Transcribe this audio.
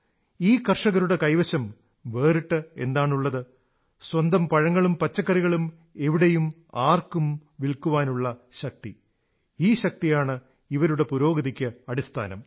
ഈ കർഷകരുടെ കൈവശം വേറിട്ട് എന്താണുള്ളത് സ്വന്തം പഴങ്ങളും പച്ചക്കറികളും എവിടെയും ആർക്കും വില്ക്കാനുള്ള ശക്തി ഈ ശക്തിയാണ് ഇവരുടെ പുരോഗതിക്ക് അടിസ്ഥാനം